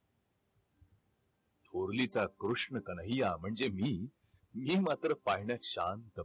थोरली तर कृष्ण कन्हैय्या म्हणजे मी, मी मात्र पाळण्यात शांत